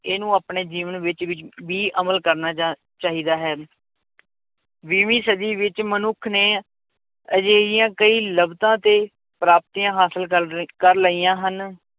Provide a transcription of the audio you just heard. ਇਹਨੂੰ ਆਪਣੇ ਜੀਵਨ ਵਿੱਚ ਵੀ ਵੀ ਅਮਲ ਕਰਨਾ ਜਾਂ ਚਾਹੀਦਾ ਹੈ ਵੀਹਵੀਂ ਸਦੀ ਵਿੱਚ ਮਨੁੱਖ ਨੇ ਅਜਿਹੀਆਂ ਕਈ ਲੱਭਤਾਂ ਤੇ ਪ੍ਰਾਪਤੀਆਂ ਹਾਸਿਲ ਕਰ ਲਈ ਕਰ ਲਈਆਂ ਹਨ